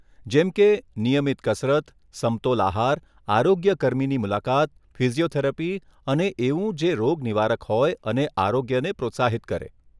જેમકે નિયમિત કસરત, સમતોલ આહાર, આરોગ્ય કર્મીની મુલાકાત, ફિઝીયોથેરાપી અને એવું જે રોગ નિવારક હોય અને આરોગ્યને પ્રોત્સાહિત કરે.